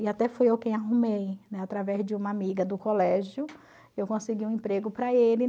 E até fui eu quem arrumei, né, através de uma amiga do colégio, eu consegui um emprego para ele.